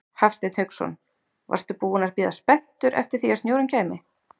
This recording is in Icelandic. Hafsteinn Hauksson: Varstu búinn að bíða spenntur eftir því að snjórinn kæmi?